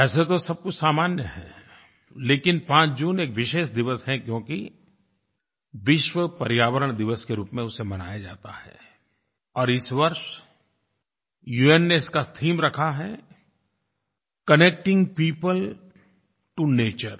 वैसे तो सब कुछ सामान्य है लेकिन 5 जून एक विशेष दिवस है क्योंकि विश्व पर्यावरण दिवस के रूप में उसे मनाया जाता है और इस वर्ष उन ने इसका थीम रखा है कनेक्टिंग पियोपल टो नेचर